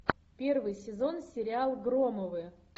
первый сезон сериал громовы